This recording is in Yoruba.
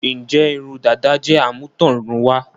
Ǹjẹ́ irun dàda jẹ́ àmútọ̀runwá?